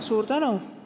Suur tänu!